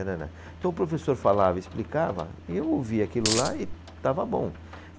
Tanana, então, o professor falava e explicava, e eu ouvia aquilo lá e estava bom.